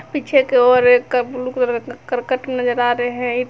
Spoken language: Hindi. पीछे की ओर एक ब्लू कलर का करकट नजर आ रहे है।